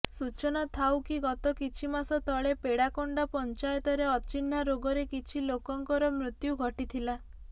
ସୁଚନା ଥାଉକି ଗତ କିଛିମାସତଳେ ପେଡାକୋଣ୍ଡା ପଚାଂୟତରେ ଅଚିହ୍ନାରୋଗରେ କିଛି ଲୋକଙ୍କର ମୃତ୍ୟୁଘଟିଥିଲା